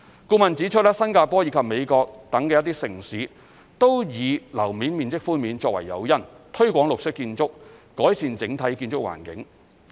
顧問指出，新加坡及美國等一些城市均以樓面面積寬免作為誘因，推廣綠色建築、改善整體建築環境。